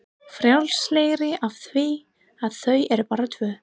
Frjálslegri af því að þau eru bara tvö.